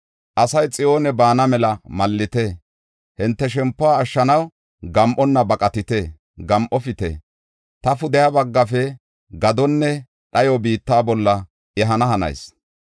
Asay Xiyoone baana mela mallite! Hinte shempuwa ashshanaw gam7onna baqatite! Gam7ofite! Ta pudeha baggafe gadonne dhayo biitta bolla ehana hanayis.